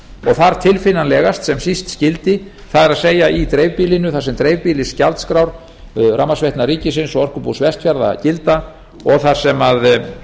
þar tilfinnanlegast sem síst skyldi það er í dreifbýlinu þar sem dreifbýlisgjaldskrár rafmagnsveitna ríkisins og orkubús vestfjarða gilda og þar sem er